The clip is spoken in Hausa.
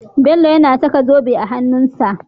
Bello yAna saka zobe a hanun sa